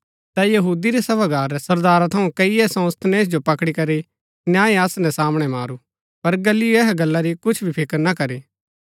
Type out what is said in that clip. ता यहूदी रै सभागार रै सरदारा थऊँ कईये सोस्थनेस जो पकड़ी करी न्याय आसन रै सामणै मारू पर गल्लियो ऐहा गल्ला री कुछ भी फिकर ना करी